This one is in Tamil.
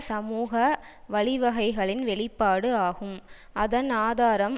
சமூக வழிவகைகளின் வெளிப்பாடு ஆகும் அதன் ஆதாரம்